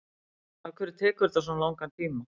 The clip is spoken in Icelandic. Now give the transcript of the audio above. afhverju tekur þetta svona langan tíma